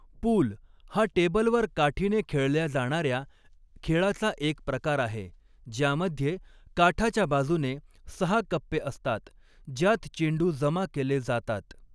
पूल हा टेबलवर काठीने खेळल्या जाणार्या खेळाचा एक प्रकार आहे, ज्यामध्ये काठाच्या बाजूने सहा कप्पे असतात, ज्यात चेंडू जमा केले जातात.